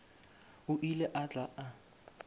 o ile a tla a